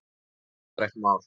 Það er útrætt mál.